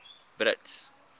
brits